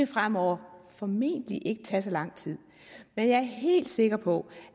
fremover formentlig ikke vil tage så lang tid men jeg er helt sikker på